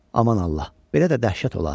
Aman Allah, belə də dəhşət olar!